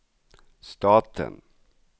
staten